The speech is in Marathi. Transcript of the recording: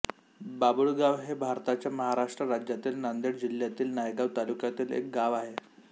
बाबुळगाव हे भारताच्या महाराष्ट्र राज्यातील नांदेड जिल्ह्यातील नायगाव तालुक्यातील एक गाव आहे